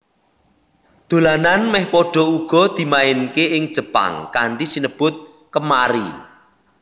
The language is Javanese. Dolanan mèh padha uga dimainaké ing Jepang kanthi sinebut Kemari